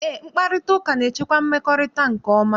Eé, mkparịtaụka na-echekwa mmekọrịta nke ọma.